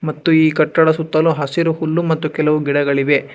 ಮತ್ತು ಈ ಕಟ್ಟಡದ ಸುತ್ತಲೂ ಹಸಿರು ಹುಲ್ಲು ಮತ್ತು ಕೆಲವು ಗಿಡಗಳಿವೆ.